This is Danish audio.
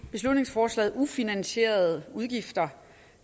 beslutningsforslaget ufinansierede udgifter